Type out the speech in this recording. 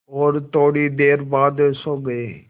और थोड़ी देर बाद सो गए